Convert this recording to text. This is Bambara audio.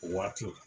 O waati la